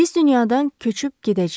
Biz dünyadan köçüb gedəcəyik.